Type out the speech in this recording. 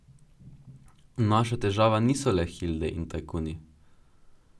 Naša težava niso le hilde in tajkuni.